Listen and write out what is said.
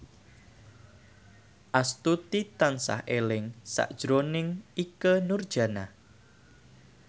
Astuti tansah eling sakjroning Ikke Nurjanah